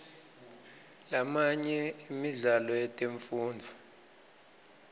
lamanye emidlalo yetemfundvo